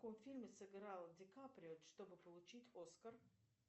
в каком фильме сыграл дикаприо чтобы получить оскар